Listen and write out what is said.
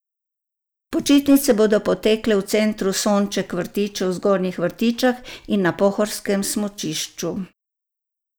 Počitnice bodo potekle v Centru Sonček Vrtiče v Zgornjih Vrtičah in na pohorskem smučišču.